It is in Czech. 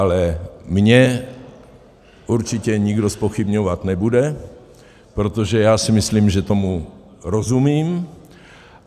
Ale mě určitě nikdo zpochybňovat nebude, protože já si myslím, že tomu rozumím.